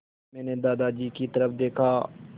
मैंने दादाजी की तरफ़ देखा